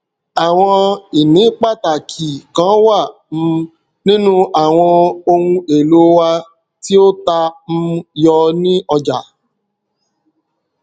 àwọn ìní pàtàkì kan wà um nínú àwọn ohun èlò wa tí ó ta um yọ ní ọjà